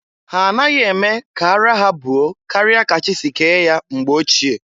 Ha anaghị eme ka araa ha buo karịa ka chị si ke ya mgbe ochie.